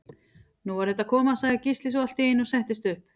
Nú er þetta að koma, sagði Gísli svo allt í einu og settist upp.